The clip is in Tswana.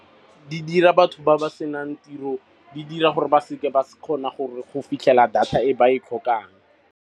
Di dira batho ba ba senang tiro, di dira gore ba seke ba kgona go fitlhela data e ba e tlhokang.